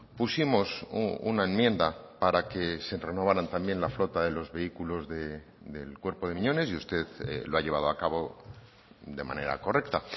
pusimos una enmienda para que se renovaran también la flota de los vehículos del cuerpo de miñones y usted lo ha llevado a cabo de manera correcta